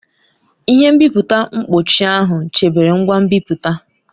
Ihe nbipute mkpuchi ahụ chebere ngwa nbipute.